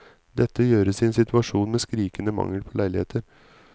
Dette gjøres i en situasjon med skrikende mangel på leiligheter.